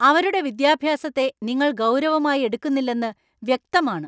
അവരുടെ വിദ്യാഭ്യാസത്തെ നിങ്ങൾ ഗൗരവമായി എടുക്കുന്നില്ലെന്ന് വ്യക്തമാണ്.